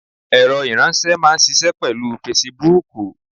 Ẹ̀rọ ìránsé máa n ṣiṣẹ́ pèlú Fesibuúkù